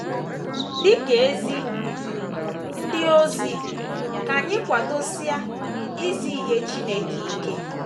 Dị ka ezi ndị ozi, ka anyị kwadosie izi ihe Chineke ike.